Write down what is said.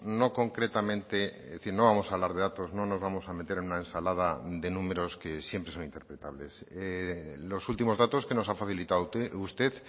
no concretamente es decir no vamos a hablar de datos no nos vamos a meter en una ensalada de números que siempre son interpretables los últimos datos que nos ha facilitado usted